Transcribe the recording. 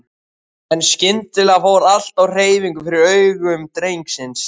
En skyndilega fór allt á hreyfingu fyrir augum drengsins.